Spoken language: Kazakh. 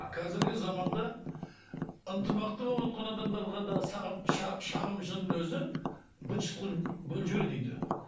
қазіргі заманда ынтымақты болып отырған адамдарға да шағымшының өзі быт шыт қылып бөліп жібереді үйді